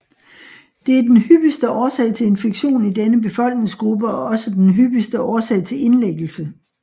Det er den hyppigste årsag til infektion i denne befolkningsgruppe og også den hyppigste årsag til indlæggelse